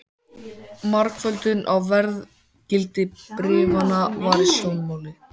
Margföldun á verðgildi bréfanna var í sjónmáli.